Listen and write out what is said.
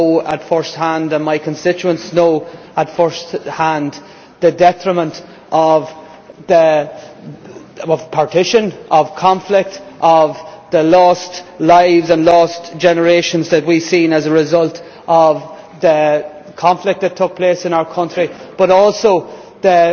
I know at first hand, and my constituents know at first hand, the detriment of partition, of conflict, of the lost lives and lost generations that we have seen as a result of the conflict that took place in our country, but also the